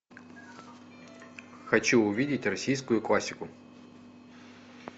хочу увидеть российскую классику